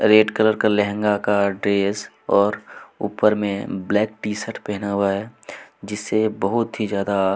red colour का लहंगा का dress और ऊपर में ब्लैक शर्ट पहना हुआ है जिससे बहुत ही ज्यादा--